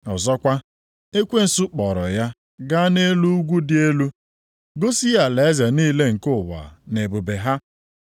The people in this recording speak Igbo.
Ọzọkwa, ekwensu kpọọrọ ya gaa nʼelu ugwu dị elu, gosi ya alaeze niile nke ụwa na ebube ha.